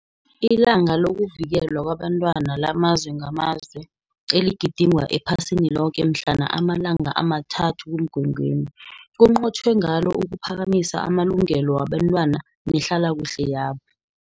ILanga LokuVikelwa KwabeNtwana LamaZwe NgamaZwe, eligidingwa ephasini loke mhlana ama-3 kuMgwengweni, kunqotjhwe ngalo ukuphakamisa amalungelo wabentwana nehlalakuhle yabo.